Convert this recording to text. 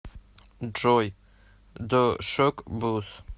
джой ду шок буз